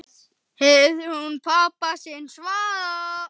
heyrði hún pabba sinn svara.